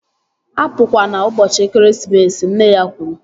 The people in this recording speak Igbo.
Apukwana ụbọchị ekeresimesi! Nne ya kwuru